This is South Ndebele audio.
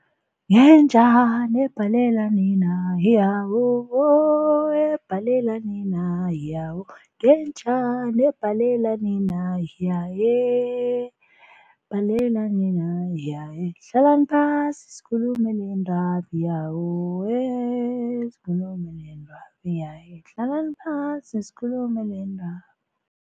Ngenjani ebhalela nina ebhalela nina , ngenjani ebhalela nina ebhalela nina , hlalani phasi sikhulume lendaba sikhulume lendaba hlalani phasi sikhulume lendaba.